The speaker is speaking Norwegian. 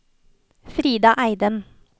Frida Eidem